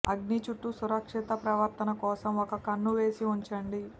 అగ్ని చుట్టూ సురక్షిత ప్రవర్తన కోసం ఒక కన్ను వేసి ఉంచండి